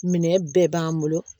Minɛn bɛɛ b'an bolo